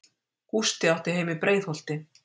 Gústi átti heima í Breiðholti.